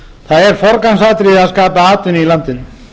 er forgangsatriði að skapa atvinnu í landinu